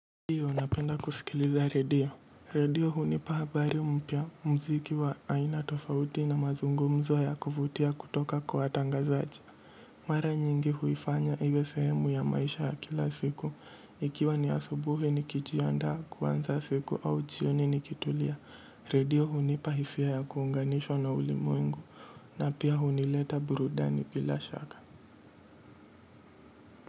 Ndiyo, napenda kusikiliza redio. Redio hunipa habari mpya muziki wa aina tofauti na mazungumzo ya kuvutia kutoka kwa watangazaji. Mara nyingi huifanya iwe sehemu ya maisha ya kila siku. Ikiwa ni asubuhi nikijiandaa kuanza siku au jioni nikitulia. Redio hunipa hisia ya kuunganishwa na ulimwengu. Na pia hunileta burudani bila shaka.